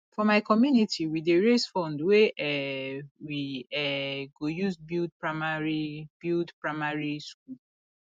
for my community we dey raise fund wey um we um go use build primary build primary school